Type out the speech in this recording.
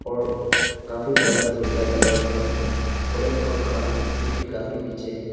और काफी बड़ा ट्यूबलाइट लगा हुआ है और एक पंख जो की काफी पीछे है।